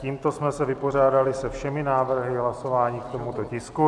Tímto jsme se vypořádali se všemi návrhy hlasování k tomuto tisku.